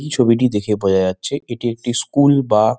এই ছবিটি দেখে বোঝা যাচ্ছে এটি একটি স্কুল বা--